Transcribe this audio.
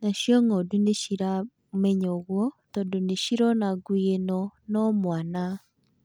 Nacio ng'ondu nĩciramenya ũguo tondũ nĩcirona ngui ĩno no mwana.